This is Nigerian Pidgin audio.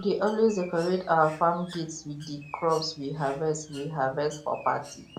we dey always decorate our farm gates with di crops we harvest we harvest for party